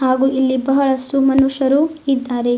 ಹಾಗೂ ಇಲ್ಲಿ ಬಹಳಷ್ಟು ಮನುಷ್ಯರು ಇದ್ದಾರೆ.